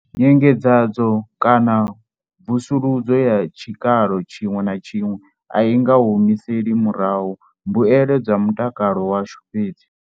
Nyengedzedzo kana mvusuludzo ya tshikalo tshiṅwe na tshiṅwe a i nga humiseli murahu mbuelo dza mu takalo washu fhedzi.